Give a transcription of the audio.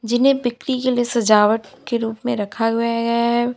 जीने बिक्री के सजावट के रूप में रखा हुआ गया है।